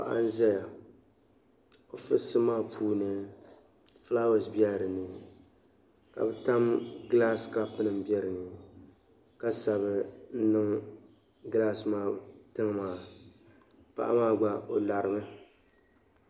Paɣa n ʒaya ɔ ficsibu maa puu ni fulawese nim bela dini, kadama glaasi nim be dini, ka sabi n niŋ glaasi maa tiŋ maa, paɣa maa gba ɔ larimi.